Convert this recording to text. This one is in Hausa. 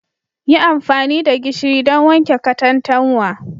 Yi amfani da gishiri don wanke katantanwa